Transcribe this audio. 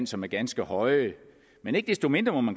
som er ganske høje men ikke desto mindre må